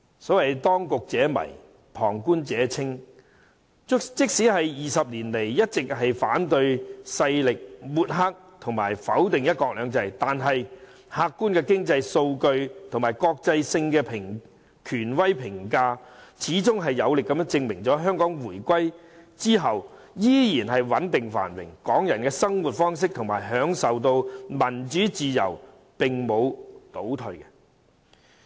所謂當局者迷，旁觀者清。即使反對勢力在20年間一直抹黑和否定"一國兩制"，但客觀經濟數據和國際性權威評價，始終有力地證明了香港在回歸後依然穩定繁榮，港人的生活方式和享受到的民主自由並沒有倒退。